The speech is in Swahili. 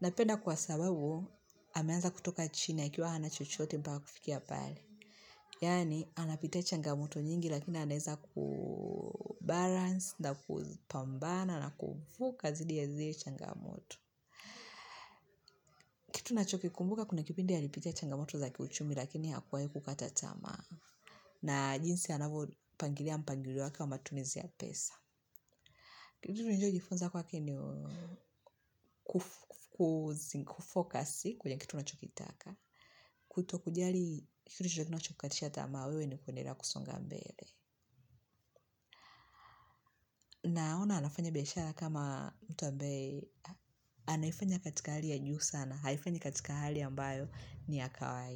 Napenda kwa sababu, ameanza kutoka chini akiwa hana chochote mpaka kufikia pale. Yani, anapitia changamoto nyingi, lakini anaweza kubalance, na kupambana, na kuvuka dhidi ya zile changamoto. Kitu nacho kikumbuka, kuna kipindi alipitia changamoto zaki uchumi, lakini hakuwahi kukata tamaa. Na jinsi anavyo pangilia mpangilio wake wa matumizi ya pesa. Kitu nilichojifunza kwake ni kufocus kwenye kitu unachokitaka. Kuto kujali kitu chochote kinachokukatisha tamaa wewe ni kuendelea kusonga mbele. Naona anafanya biashara kama mtu ambaye. Anaifanya katika hali ya juu sana, haifanyi katika hali ambayo ni ya kawaida.